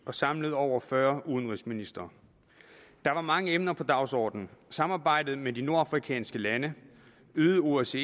og samlede over fyrre udenrigsministre der var mange emner på dagsordenen samarbejde med de nordafrikanske lande øget osce